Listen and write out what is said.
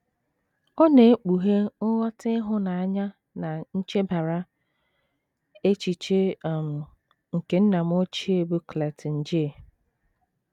Ọ na - ekpughe nghọta ịhụnanya na nchebara echiche um nke nna m ochie bụ́ Clayton J.